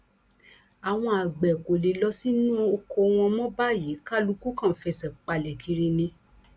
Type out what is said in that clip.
àwọn àgbẹ kò lè lọ sínú ọkọ wọn mọ báyìí kálukú kan ń fẹsẹ palẹ kiri ni